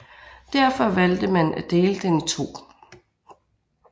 Derfor valgte man at dele den i to